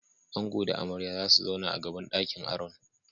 Ango da amarya zasu zauna a gaban ɗakin aron.